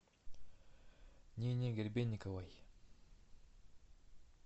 нине гребенниковой